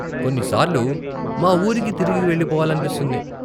కొన్నిసార్లు మా ఊరికి తిరిగి వెళ్ళిపోవాలనిపిస్తుంది.